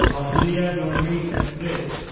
Ahilyanagari express